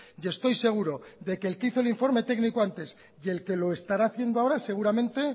y estoy seguro de que el que hizo el informe técnico antes y el que lo estará haciendo ahora seguramente